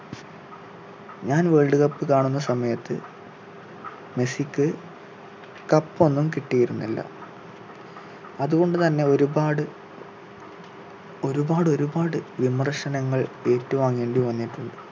ഞാൻ world cup കാണുന്ന സമയത്ത് മെസ്സിക്ക് cup ഒന്നും കിട്ടിയിരുന്നില്ല അതുകൊണ്ടു തന്നെ ഒരുപാടു ഒരുപാട് ഒരുപാട് വിമർശനങ്ങൾ ഏറ്റുവാങ്ങേണ്ടി വന്നിട്ടുണ്ട്